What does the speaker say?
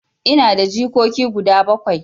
Ina da jikoki guda bakwai.